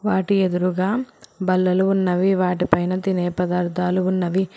వాటి ఎదురుగా బల్లలు ఉన్నవి వాటిపైన తినే పదార్థాలు ఉన్నవి.